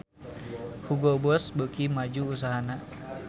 Hugo Boss beuki maju usahana